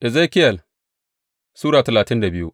Ezekiyel Sura talatin da biyu